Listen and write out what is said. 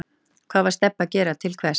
Hvað var Stebbi að gera og til hvers?